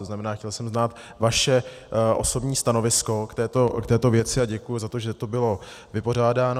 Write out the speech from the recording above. To znamená, chtěl jsem znát vaše osobní stanovisko k této věci a děkuji za to, že to bylo vypořádáno.